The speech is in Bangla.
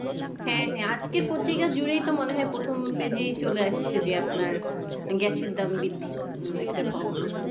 হ্যাঁ হ্যাঁ আজকের পত্রিকা জুড়েই তো মনেহয় প্রথম page এই চলে আসছে যে আপনার গ্যাসের দাম বৃদ্ধির উম একটা খবর